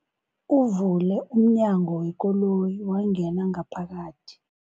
Uvule umnyango wekoloyi wangena ngaphakathi.